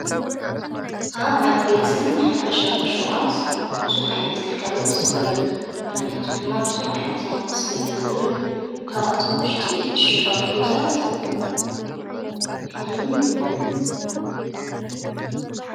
ኣብ ዓበይትን ሓፈሻውን ሽቋት ብዙሕ ዓይነት ግልጋሎት ንረክብ ምኽንያቱ ድማ ብዙሕ ዓይነት ናውቲ ስለ ዝኃዙ እዩ ካብኣቶ ውሽጢ እሽጓት ሩዛት የኂዙን ይምደብን።